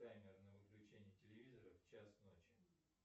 таймер на выключение телевизора в час ночи